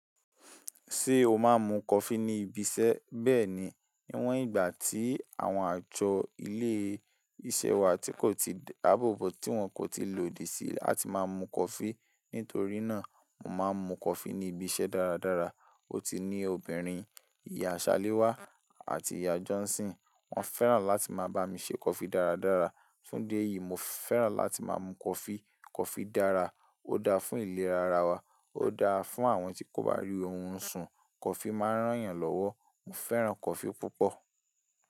Ṣé o máa ń mu kọfí ní ibi iṣẹ́? Bẹ́ẹ̀ni, níwọ̀n ìgbà tí àwọn àjọ ilé iṣẹ́ wa tí kò ti dáàbò bo tí wọ́n kò ti lòdì sí láti máa mu kọfí. Nítorí náà, mo máa ń mu kọfí ní ibi iṣẹ́ dáradára. Ó ti ní obìnrin, ìyá Ṣaléwá àti ìyá Jọ́nsì́n. Wọ́n fẹ́ràn láti máa bá mi ṣe kọfí dáradára. Fún idi eyìí, mo fẹ́ràn láti máa mu kọfí. Kọfí dára, ó dáa fún ìlera ara wa, ó dáa fún àwọn tí kò bá rí orun sùn, kọfí máa ń ràn yàn lọ́wọ́. Mo fẹ́ràn kọfí púpọ̀